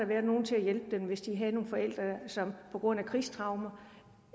været nogen til at hjælpe dem hvis de har haft nogle forældre som på grund af krigstraumer